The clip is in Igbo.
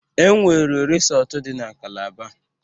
Enwere risọtu dị na Calaba.